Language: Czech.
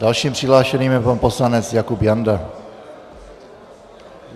Dalším přihlášeným je pan poslanec Jakub Janda.